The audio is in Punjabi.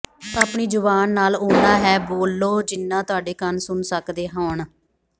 ਆਪਣੀ ਜ਼ੁਬਾਨ ਨਾਲ ਓਨਾਂ ਹੈ ਬੋਲੋ ਜਿਨ੍ਹਾਂ ਤੁਹਾਡੇ ਕੰਨ ਸੁਨ ਸਕਦੇ ਹੋਣ